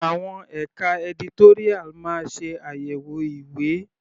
Àwọn ẹka editorial máa ṣe àyẹ̀wò ìwé.